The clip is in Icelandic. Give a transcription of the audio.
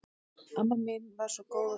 Amma mín var svo góð og fín.